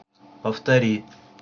повтори